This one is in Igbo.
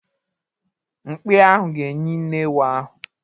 Mkpi ahụ ga-enyí nne ewu ahụ